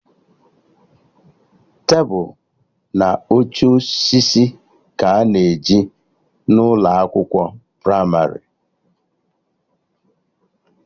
Tebụl na oche osisi ka a na-eji n'ụlọ akwụkwọ pramarị